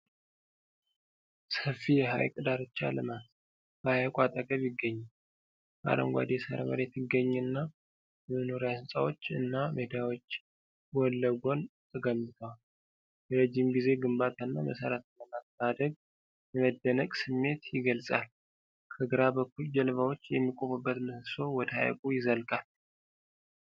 ሰፊ የሐይቅ ዳርቻ ልማት በሐይቁ አጠገብ ይገኛል። አረንጓዴ የሳር መሬት ይገኝና፣ የመኖሪያ ሕንፃዎች እና ሜዳዎች ጎን ለጎን ተገንብተዋል። የረጅም ጊዜ ግንባታና መሠረተ ልማት ማደግ የመደነቅ ስሜት ይገልጻል። ከግራ በኩል ጀልባዎች የሚቆሙበት ምሰሶ ወደ ሐይቁ ይዘልቃል።